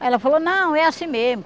Aí ela falou, não, é assim mesmo.